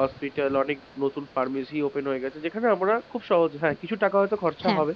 hospital অনেক নতুন pharmacy open হয়ে গেছে। যেখানে আমরা খুব সহজে হ্যাঁ কিছু টাকা হয়তো খরচা হবে,